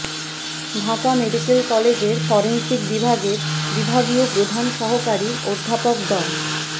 Dhaka medical কলেজের forensic বিভাগের বিভাগীয় প্রধান সহকারী অধ্যাপক ড